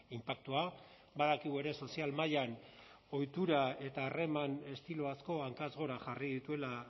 inpaktua badakigu ere sozial mailan ohitura eta harreman estilo asko hankaz gora jarri dituela